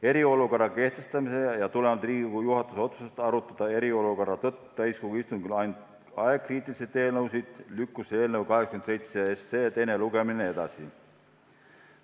Eriolukorra kehtestamise tõttu ja tulenevalt Riigikogu juhatuse otsusest arutada eriolukorra tõttu täiskogu istungil ainult aegkriitilisi eelnõusid lükkus eelnõu 87 teine lugemine edasi.